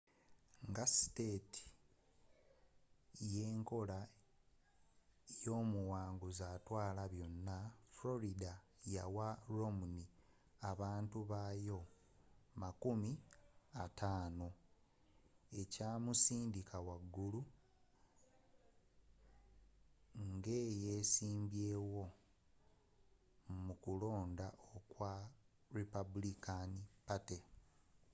nga state y'enkola y'omuwanguzi atwala byonna florida yawa romney abantu bayo makumi ataano ekyamusindika waggulu ng'eyesimbawo mu kulonda okwa republican party